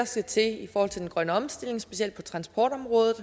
skal til i forhold til den grønne omstilling specielt på transportområdet